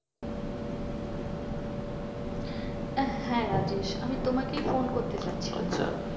হ্যাঁ রাজেশ আমি তোমাকেই ফোন করতে যাচ্ছিলাম।